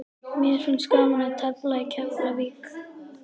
Mér finnst gaman að tefla í Keflavík.